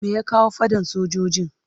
Me ya kawo fadan fasinjojin?